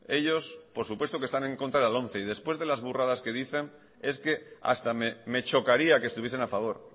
ellos por supuesto que están en contra de la lomce y después de las burradas que dicen es que hasta me chocaría que estuviesen a favor